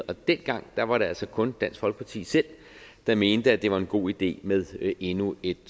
og dengang var det altså kun dansk folkeparti selv der mente at det var en god idé med endnu et